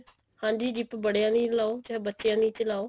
ਹਾਂਜੀ zip ਬੜਿਆ ਦੀ ਲਾਓ ਚਾਹੇ ਬੱਚਿਆ ਦੀ ਚ ਲਾਓ